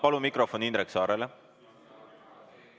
Palun mikrofon Indrek Saarele!